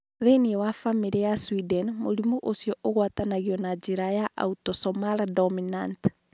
Thĩinĩ wa bamĩrĩ ĩyo ya Sweden, mũrimũ ũcio wagwatanagio na njĩra ya autosomal dominant.